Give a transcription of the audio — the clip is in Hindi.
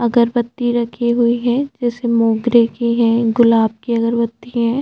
अगरबत्ती रखी हुई है जैसे मोंगरे की है गुलाब की अगरबत्ती है।